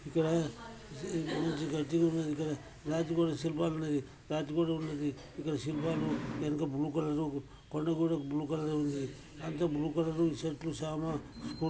ఇక్కడ మంచి గడ్డి ఉన్నది ఇక్కడ రాతి కూడా శిల్పాలు ఉన్నాది. రాతి కూడా ఉన్నది. ఇక్కడ శిల్పాలు వెనుకబ్లూ కలర్ రు పండు గోడకి బ్లూ కలర్ రు ఉన్నది అంత బ్లూ కలర్ చెట్లు చానా --